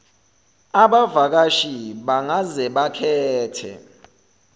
abavakashi bangaze bakhethe